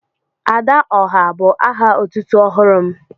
"Adaọhá" bu aha otútú ọhụrụ m